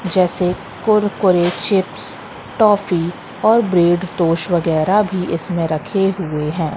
जैसे Kurkure chips toffee और bread toast वगैरा है इसमें रखें हुए हैं।